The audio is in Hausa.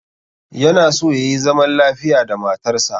Yana so yayi zaman lafiya da matarsa